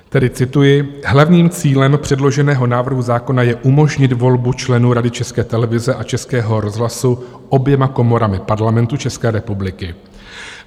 Tedy cituji: Hlavním cílem předloženého návrhu zákona je umožnit volbu členů Rady České televize a Českého rozhlasu oběma komorami Parlamentu České republiky.